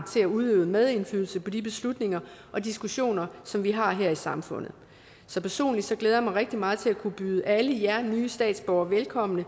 til at udøve medindflydelse på de beslutninger og diskussioner som vi har her i samfundet så personligt glæder jeg mig rigtig meget til at kunne byde alle jer nye statsborgere velkommen og